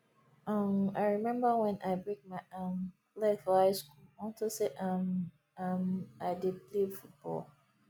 um i remember wen i break my um leg for high school unto say um um i dey play football